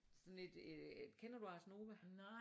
Sådan et øh kender du Ars Nova?